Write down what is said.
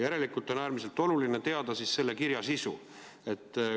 Järelikult on äärmiselt oluline teada selle kirja sisu.